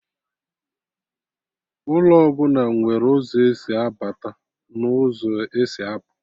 Ụlọ ọbụla nwere ụzọ esi abata n'ụzọ esi apụ